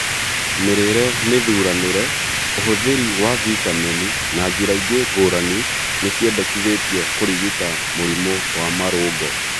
Mĩrĩre mĩthuranĩre, ũhũthĩri wa vitameni, na njĩra ingĩ ngũrani nĩciendekithĩtio kũrigita mũrimũ wa marũngo